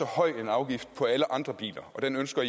høj afgift på alle andre biler og den ønsker